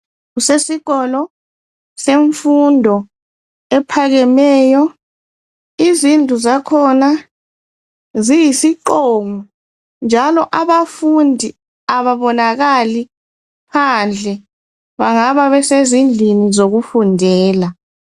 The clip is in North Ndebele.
Kusesikolo semfundo ephakemeyo izindlu zakhona ziyisiqongo njalo abafundi ababonakali phandle bengabe besezindlini zokufundela.